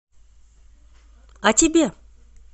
а тебе